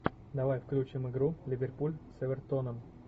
давай включим игру ливерпуль с эвертоном